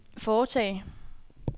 foretage